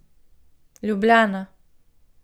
Ljubljana.